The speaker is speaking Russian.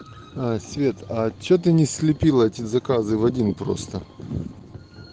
аа свет а что ты не слепила эти заказы в один просто